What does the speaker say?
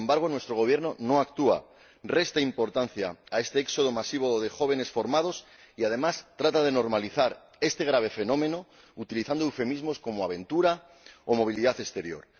sin embargo, nuestro Gobierno no actúa, resta importancia a este éxodo masivo de jóvenes formados y, además, trata de normalizar este grave fenómeno utilizando eufemismos como aventura o movilidad exterior.